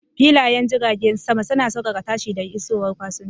Filayen jiragen sama suna saukaka tashi da isowar fasinjoji